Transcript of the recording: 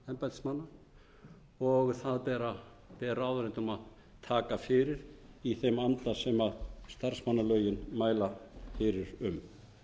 refsiverða háttsemi embættismanna það ber ráðuneytum að taka fyrir í þeim anda sem starfsmannalögin segja til um